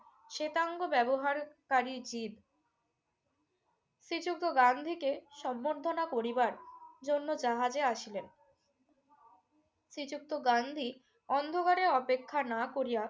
শেতাঙ্গ ব্যবহারকারী জীপ শ্রীযুক্ত গান্ধীকে সংবর্ধনা করিবার জন্য জাহাজে আসিলেন। শ্রীযুক্ত গান্ধী অন্ধকারে অপেক্ষা না করিয়া